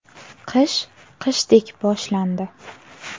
Qish qishdek boshlandi!